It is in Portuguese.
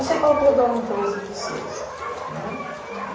Eu sei que ao todo eram treze pessoas, né?